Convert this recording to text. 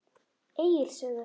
Egils sögu.